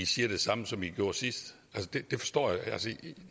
siger det samme som vi gjorde sidst